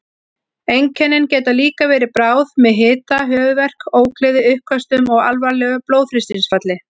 Einkennin geta líka verið bráð með hita, höfuðverk, ógleði, uppköstum og alvarlegu blóðþrýstingsfalli.